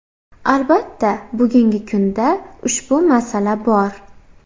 Albatta bugungi kunda ushbu masala bor.